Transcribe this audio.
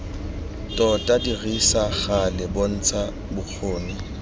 tota dirisa gale bontsha bokgoni